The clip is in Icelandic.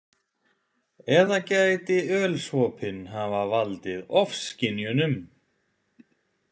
Eða gæti ölsopinn hafa valdið ofskynjunum?